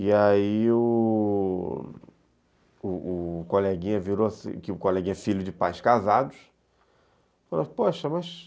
E aí o coleguinha virou-se, que o coleguinha é filho de pais casados, falou assim, poxa, mas...